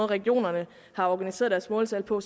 regionerne har organiseret deres måltal på